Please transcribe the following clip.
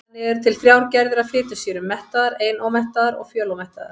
Þannig eru til þrjár gerðir af fitusýrum: mettaðar, einómettaðar og fjölómettaðar.